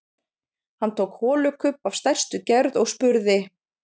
Hann tók holukubb af stærstu gerð og spurði: